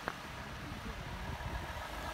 биси джорнл на ютубе